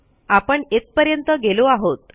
आपण येथपर्यंत गेलो आहोत